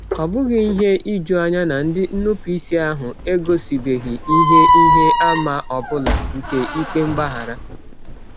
Ọ bụghị ihe ijuanya na ndị nnupụisi ahụ egosibeghị ihe ihe àmà ọ bụla nke ikpe mgbaghara.